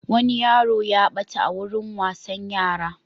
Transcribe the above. Wani yaro ya ɓata a wurin wasan yara.